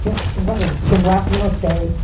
Tinham tinham várias tinha boates em hotéis.